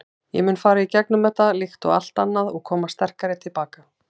Ég mun fara í gegnum þetta, líkt og allt annað og koma sterkari til baka.